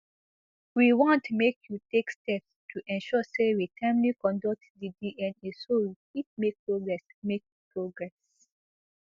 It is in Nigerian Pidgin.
we want make you take steps to ensure say we timely conduct di dna so we fit make progress make progress